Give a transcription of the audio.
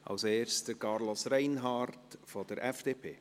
Als Erstes spricht Carlos Reinhard von der FDP.